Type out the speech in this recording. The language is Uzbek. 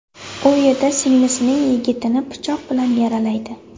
U yerda singlisining yigitini pichoq bilan yaralaydi.